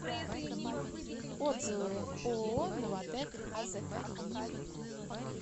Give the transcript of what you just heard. отзывы ооо новатэк азк